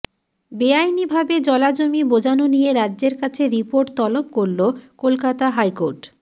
বেআইনিভাবে জলাভূমি বোজানো নিয়ে রাজ্যের কাছে রিপোর্ট তলব করল কলকাতা হাইকোর্ট